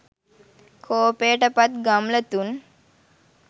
කෝපයට පත් ගම්ලතුන්